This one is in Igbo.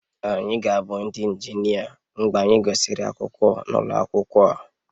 Anyị ga-abụ ndị injinia mgbe anyị gụsịrị akwụkwọ n'ụlọ akwụkwọ a